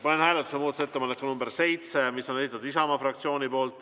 Panen hääletusele muudatusettepaneku nr 7, mille on esitanud Isamaa fraktsioon.